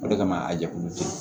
O de kama a jɛkulu